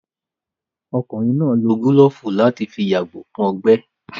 Ọkùnrin náà wò gílófù láti fi yàgò fún ọgbẹ́